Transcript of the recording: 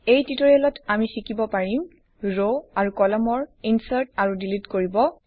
এই টিউটৰিয়েলত আমি শিকিব পাৰিম ৰ আৰু কলমৰ ইনচাৰ্ট আৰু ডিলিট কৰিব